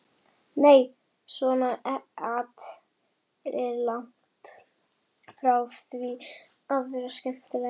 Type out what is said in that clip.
Nei, svona at er langt frá því að vera skemmtilegt.